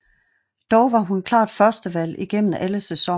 Dog var hun klart førstevalg igennem alle sæsonerne